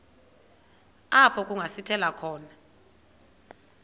apho kungasithela khona